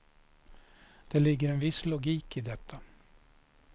Det ligger en viss logik i detta.